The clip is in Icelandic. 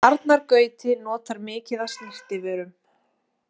Arnar Gauti notar mikið af snyrtivörum